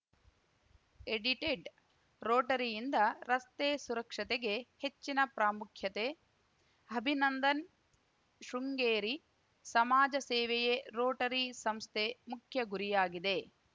edited ರೋಟರಿಯಿಂದ ರಸ್ತೆ ಸುರಕ್ಷತೆಗೆ ಹೆಚ್ಚಿನ ಪ್ರಾಮುಖ್ಯತೆ ಅಭಿನಂದನ್‌ ಶೃಂಗೇರಿ ಸಮಾಜ ಸೇವೆಯೇ ರೋಟರಿ ಸಂಸ್ಥೆ ಮುಖ್ಯ ಗುರಿಯಾಗಿದೆ